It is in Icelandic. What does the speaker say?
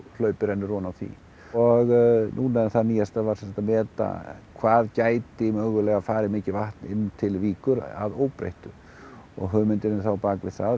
hlaup rennur ofan á því og núna það nýjasta var að meta hvað gæti mögulega farið mikið vatn inn til Víkur að óbreyttu og hugmyndin þá á bak við það